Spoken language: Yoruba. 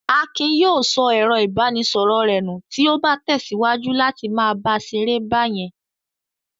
Akin yóò sọ ẹ̀rọ-ìbánisọ̀rọ̀ rẹ̀ nù tí ó bá tẹ̀síwájú láti máa ṣeré báyẹn.